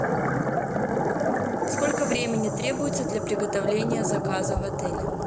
сколько времени требуется для приготовления заказа в отеле